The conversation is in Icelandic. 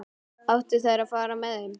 Áttu þær að fara með þeim?